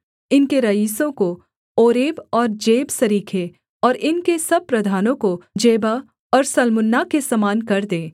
इनके रईसों को ओरेब और जेब सरीखे और इनके सब प्रधानों को जेबह और सल्मुन्ना के समान कर दे